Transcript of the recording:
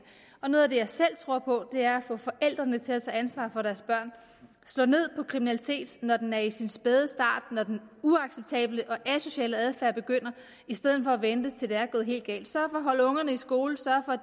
og noget af det jeg selv tror på er at få forældrene til at tage ansvar for deres børn slå ned på kriminalitet når den er i sin spæde start når den uacceptable og asociale adfærd begynder i stedet for at vente til det er gået helt galt sørge for at holde ungerne i skole sørge